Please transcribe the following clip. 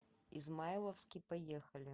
измайловский поехали